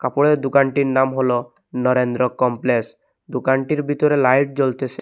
কাপড়ের দুকানটির নাম হল নরেন্দ্র কমপ্লেস দুকানটির বিতরে লাইট জ্বলতেসে।